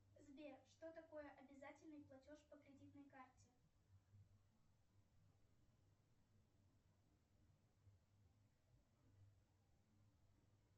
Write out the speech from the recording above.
сбер что такое обязательный платеж по кредитной карте